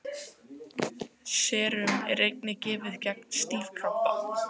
Serum er einnig gefið gegn stífkrampa.